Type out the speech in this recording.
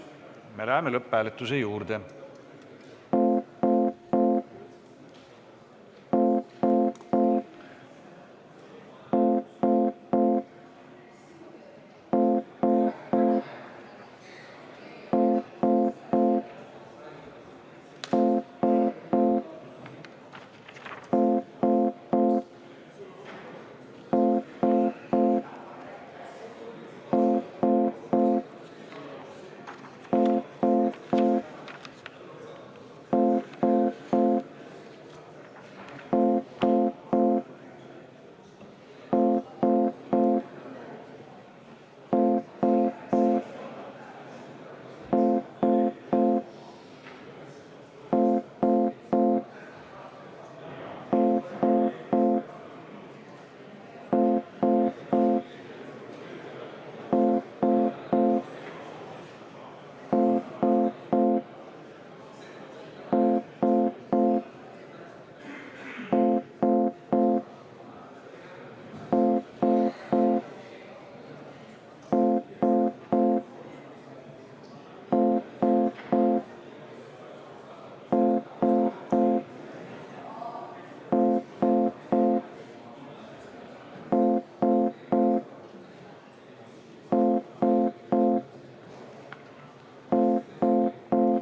Me läheme lõpphääletuse juurde.